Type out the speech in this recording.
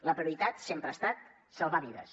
la prioritat sempre ha estat salvar vides